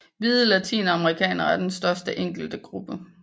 Hvide latinamerikanere er den største enkelte gruppe